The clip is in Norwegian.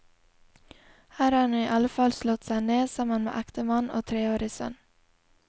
Her har hun iallfall slått seg ned, sammen med ektemann og treårig sønn.